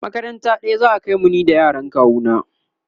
makaranta ɗaya za'a kaimu ni da yaran kawu na